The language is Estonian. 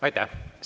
Aitäh!